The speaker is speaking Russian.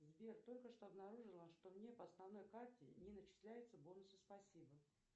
сбер только что обнаружила что мне по основной карте не начисляются бонусы спасибо